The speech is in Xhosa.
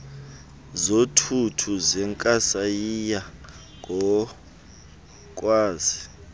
zothuthu zenkasayiya ngokwazi